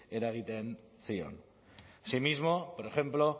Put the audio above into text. eragiten zion así mismo por ejemplo